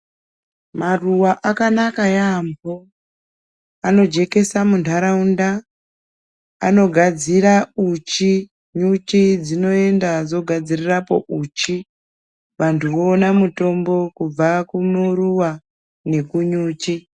Maruwa akanaka yaambo anojekesa muntaraunda, anogadzira uchi nyuchi dzinoenda dzogadzirirapo uchi, vantu voona mutombo kubva kumuruwa nekunyuchi.